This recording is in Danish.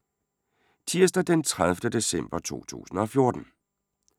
Tirsdag d. 30. december 2014